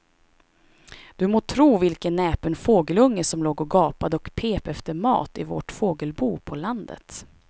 Du må tro vilken näpen fågelunge som låg och gapade och pep efter mat i vårt fågelbo på landet.